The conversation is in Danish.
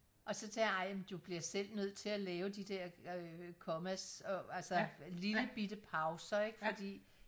og så tænke jeg ej du bliver selv nødt til at lave de der øh komma og altså lille bitte pauser ikke fordi